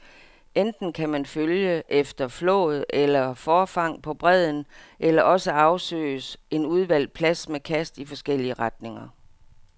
Enten kan man følge efter flåd eller forfang på bredden, eller også afsøges en udvalgt plads med kast i forskellige retninger.